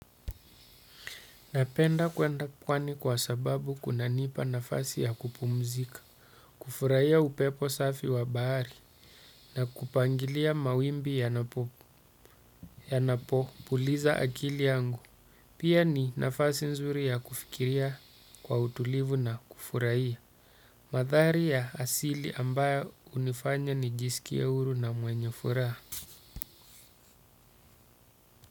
Napenda kwenda pwani kwa sababu inanipa nafasi ya kupumzika. Kufurahia upepo safi wa bahari na kupangilia mawimbi yanapo puliza akili yangu. Pia ni nafasi nzuri ya kufikiria kwa utulivu na kufurahia. Mandhari ya asili ambayo hunifanya nijisikie huru na mwenye furaha.